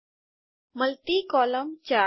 multi column 4